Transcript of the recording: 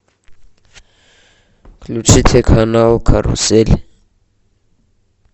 включите канал карусель